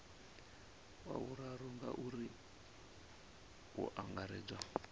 wa vhuraru ngauri hu angaredzwa